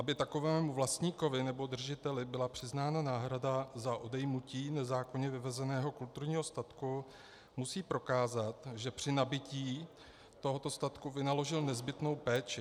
Aby takovému vlastníkovi nebo držiteli byla přiznána náhrada za odejmutí nezákonně vyvezeného kulturního statku, musí prokázat, že při nabytí tohoto statku vynaložil nezbytnou péči.